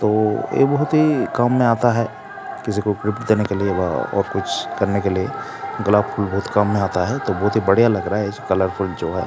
ओ ए बहुत ही काम में आता है किसी को गिफ्ट देने के लिए वा और कुछ करने के लिए गुलाब का फूल बोहोत काम में आता है तो बोहोत ही बढ़िया लग रहा है इस कलरफुल जो है।